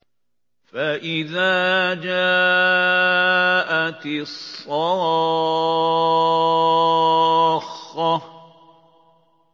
فَإِذَا جَاءَتِ الصَّاخَّةُ